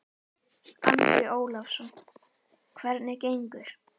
Andri Ólafsson: Hvernig gengur?